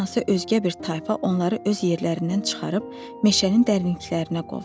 Hardansa özgə bir tayfa onları öz yerlərindən çıxarıb meşənin dərinliklərinə qovdu.